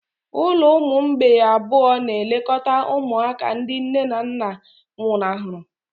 Ụlọ ụmụ mgbei abụọ na-elekọta ụmụaka ndị nne na nna nwụnahụrụ.